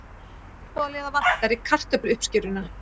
Sjálfboðaliða vantar í kartöfluuppskeruna